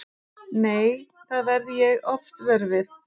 Nei, það verð ég oft vör við.